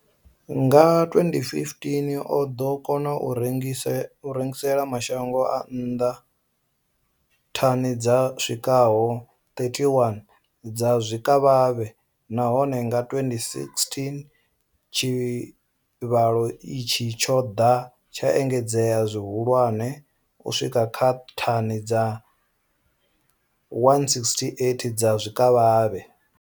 Nga 2015, o ḓo kona u rengisela mashango a nnḓa thani dzi swikaho 31 dza zwikavhavhe, nahone nga 2016 tshivhalo itshi tsho ḓo engedzea zwihulwane u swika kha thani dza 168 dza zwikavhavhe.